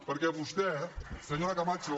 perquè vostè senyora camacho